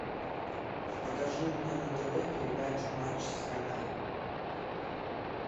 покажи мне на тв передачу матч страна